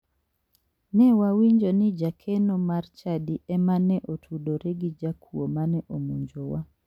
Ne wawinjo ni jakeno mar chadi ema ne otudore gi jakuo mane omonjowa.